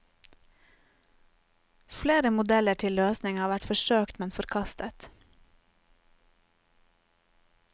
Flere modeller til løsning har vært forsøkt, men forkastet.